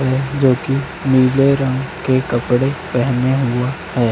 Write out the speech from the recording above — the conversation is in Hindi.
जो की नीले रंग के कपड़े पहेने हुआ है।